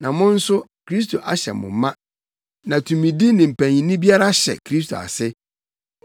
na mo nso Kristo ahyɛ mo ma, na tumidi ne mpanyinni biara hyɛ Kristo ase.